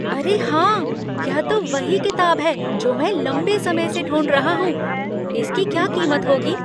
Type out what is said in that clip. अरे हाँ! यह तो वही किताब है जो मैं लंबे समय से ढूंढ रहा हूँ। इसकी क्या कीमत होगी?